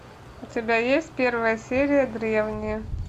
у тебя есть первая серия древние